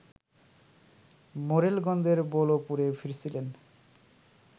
মোড়েলগঞ্জের বৌলপুরে ফিরছিলেন